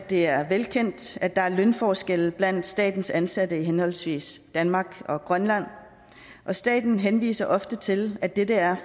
det er velkendt at der er lønforskelle blandt statens ansatte i henholdsvis danmark og grønland staten henviser ofte til at det er